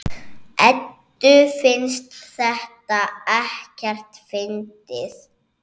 Eddu finnst þetta ekkert fyndið.